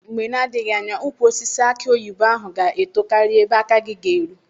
Mgbe na-adịghị anya ukwu osisi aki oyibo ahụ ga-eto karịa ebe aka gị ga-eru.